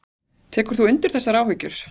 Tekur þú undir þessar áhyggjur?